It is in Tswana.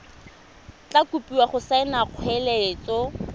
tla kopiwa go saena kgoeletso